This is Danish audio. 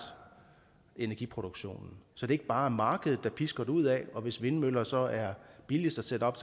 energiproduktionen så det ikke bare er markedet der pisker derudad for hvis vindmøller så er billigst at sætte op